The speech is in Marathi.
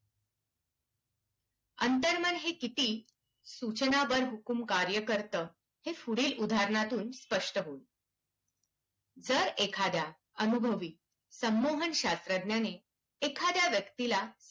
अंतर्मन हे किती सूचना बरहुकूम कार्य करतं. हे पुढील उदाहरणांतून स्पष्ट होईल. जर एखाद्या अनुभवी संमोहन शास्त्रज्ञाने एखाद्या व्यक्तीला,